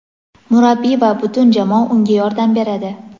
Murabbiy va butun jamoa unga yordam beradi.